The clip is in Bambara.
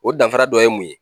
O danfara dɔ ye mun ye?